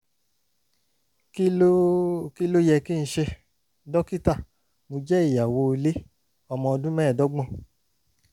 kí ló kí ló yẹ kí n ṣe? dókítà mo jẹ́ ìyàwó ilé ọmọ ọdún mẹ́ẹ̀ẹ́dọ́gbọ̀n